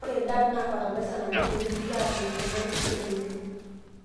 ore DAP naa fatalaisa napiki teneidipi aatuunisho, nepiki etoito.